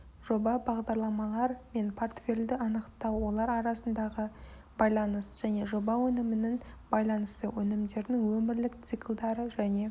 жоба бағдарламалар мен портфельді анықтау олар арасындағы байланыс және жоба өнімінің байланысы өнімдердің өмірлік циклдары және